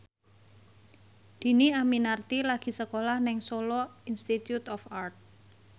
Dhini Aminarti lagi sekolah nang Solo Institute of Art